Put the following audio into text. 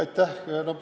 Aitäh!